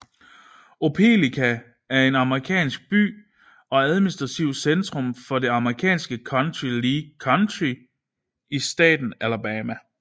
Opelika er en amerikansk by og administrativt centrum for det amerikanske county Lee County i staten Alabama